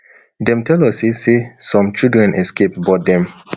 dem tell us say say some children escape but dem